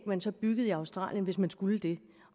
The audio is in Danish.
man så byggede i australien hvis man skulle det